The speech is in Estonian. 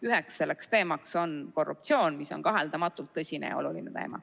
Üks teemadest on korruptsioon, mis on kaheldamatult tõsine ja oluline teema.